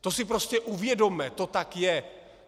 To si prostě uvědomme, to tak je.